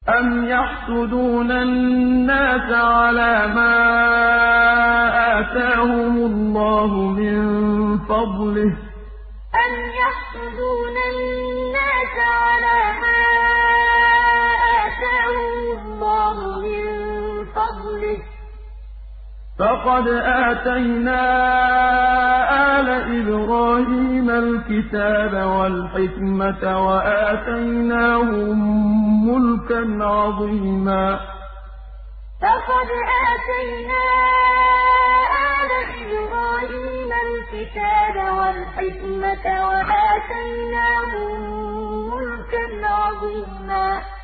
أَمْ يَحْسُدُونَ النَّاسَ عَلَىٰ مَا آتَاهُمُ اللَّهُ مِن فَضْلِهِ ۖ فَقَدْ آتَيْنَا آلَ إِبْرَاهِيمَ الْكِتَابَ وَالْحِكْمَةَ وَآتَيْنَاهُم مُّلْكًا عَظِيمًا أَمْ يَحْسُدُونَ النَّاسَ عَلَىٰ مَا آتَاهُمُ اللَّهُ مِن فَضْلِهِ ۖ فَقَدْ آتَيْنَا آلَ إِبْرَاهِيمَ الْكِتَابَ وَالْحِكْمَةَ وَآتَيْنَاهُم مُّلْكًا عَظِيمًا